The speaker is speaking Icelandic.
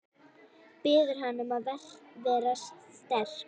Biður hana um að vera sterk.